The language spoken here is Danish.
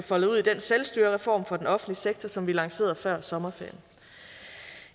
foldet ud i den selvstyrereform for den offentlige sektor som vi lancerede før sommerferien